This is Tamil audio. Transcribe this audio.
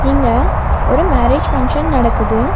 இங்க ஒரு மேரேஜ் பங்க்ஷன் நடக்குது.